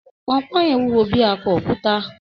Ponpon yen wúwo bí i akọ òkúta.